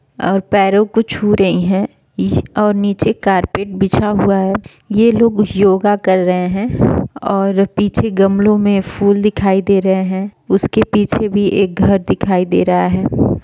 और पेरो को छू रहे हैं और नीचे कारपेट बेचा हुआ और ये लोग योगा कर रहे हैं पीछे गमलो में फूल दिख रहे हैं उन पीछे भी घर दिख रहा हैं।